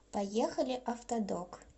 поехали автодок